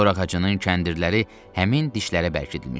Dor ağacının kəndirləri həmin dişlərə bərkidilmişdi.